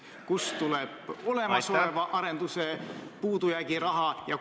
Kust tuleb olemasoleva arendusega seotud puudu jääv raha?